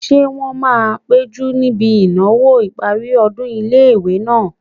Ṣé wọ́n máa péjú níbi ìnáwó ìparí ọdún ilé-ìwé náà?